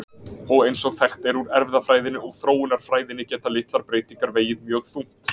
Og eins og þekkt er úr erfðafræðinni og þróunarfræðinni geta litlar breytingar vegið mjög þungt.